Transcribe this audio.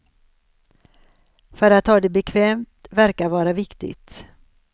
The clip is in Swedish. För att ha det bekvämt verkar vara viktigt.